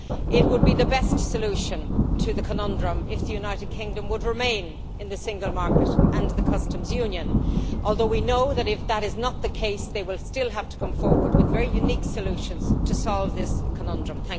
It would be the best solution to the conundrum if the United Kingdom would remain in the single market and the customs union, although we know that if that is not the case they will still have to come forward with very unique solutions to solve this conundrum.